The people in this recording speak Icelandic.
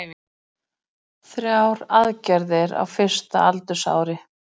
Gufubaðið er ómissandi eftir æfingar